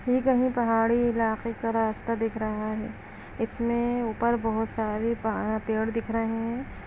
ये पहाड़ी इलाके का रास्ता दिख रहा है इसमें ऊपर बहुत सारे पहाड़ पेड़ दिख रहे हैं।